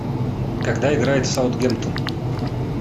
когда играет саутгемптон